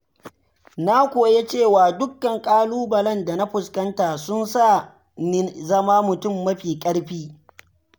Na koya cewa dukkan ƙalubalen da na fuskanta sun sa ni zama mutum mafi ƙarfi.